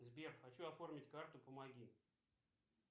сбер хочу оформить карту помоги